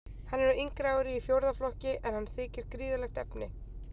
Hann er á yngra ári í fjórða flokki, en hann þykir gríðarlegt efni.